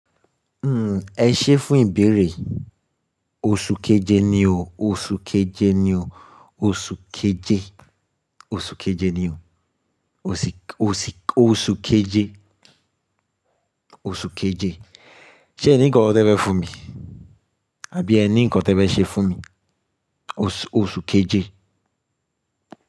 Hmm, ẹ ṣé fún ìbéèrè. Oṣù keje ni o, oṣù keje ni o, oṣù keje, oṣù keje ni o. Oṣi, oṣi, oṣù keje, oṣù keje. Ṣé ẹ ní nǹkan tí ẹ fẹ́ fún mi? Àbí ẹ ní nǹkan tí ẹ fẹ́ ṣe fún mi? Oṣù, oṣù keje.